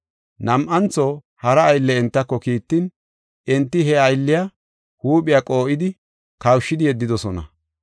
Nam7antho hara aylle entako kiittin, enti he aylliya huuphiya qoo7idi kawushidi yeddidosona.